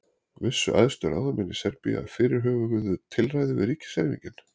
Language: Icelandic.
Vissu æðstu ráðamenn Serbíu af fyrirhuguðu tilræði við ríkiserfingjann?